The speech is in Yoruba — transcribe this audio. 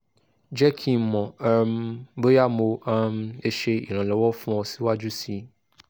jẹ ki n mọ um boya mo um le ṣe iranlọwọ fun ọ siwaju sii